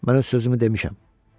Mən öz sözümü demişəm.